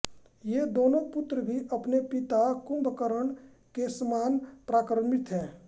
ये दोनों पुत्र भी अपने पिता कुम्भकर्ण केसमान पराक्रमी थे